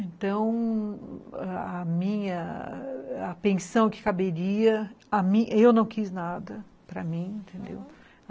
Então, a minha, a pensão que caberia, eu não quis nada para mim, entendeu? aham.